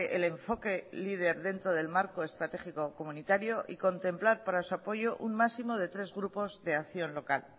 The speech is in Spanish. el enfoque leader dentro del marco estratégico comunitario y contemplar para su apoyo un máximo de tres grupos de acción local